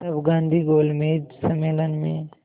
तब गांधी गोलमेज सम्मेलन में